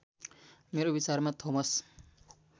मेरो विचारमा थोमस